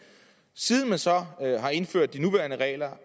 siden man så har indført de nuværende regler